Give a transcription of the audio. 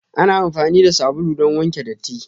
Ana amfani da sabulu don wanke datti.